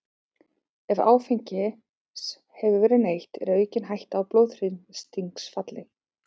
Ef áfengis hefur verið neytt er aukin hætta á blóðþrýstingsfalli.